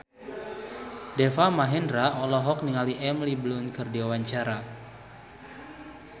Deva Mahendra olohok ningali Emily Blunt keur diwawancara